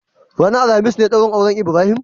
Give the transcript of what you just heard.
Ranar alhamis ne daurin auren Ibrahim?